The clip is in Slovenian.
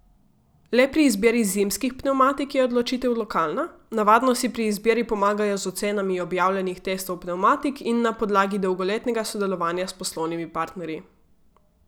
Le pri izbiri zimskih pnevmatik je odločitev lokalna, navadno si pri izbiri pomagajo z ocenami objavljenih testov pnevmatik in na podlagi dolgoletnega sodelovanja s poslovnimi partnerji.